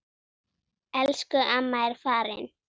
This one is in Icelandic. Elsku amma er farin.